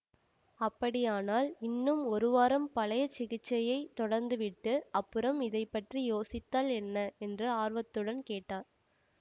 அப்படியானால் இன்னும் ஒரு வாரம் பழைய சிகிச்சையைத் தொடர்ந்துவிட்டு அப்புறம் இதை பற்றி யோசித்தால் என்ன என்று ஆர்வத்துடன் கேட்டார்